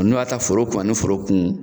Ninnu b'a ta foro kun ani foro kun.